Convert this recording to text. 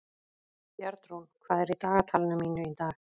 Bjarnrún, hvað er í dagatalinu mínu í dag?